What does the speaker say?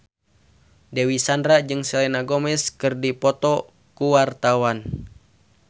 Dewi Sandra jeung Selena Gomez keur dipoto ku wartawan